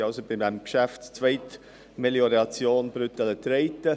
Wir sind also beim Geschäft Zweitmelioration Brüttelen-Treiten.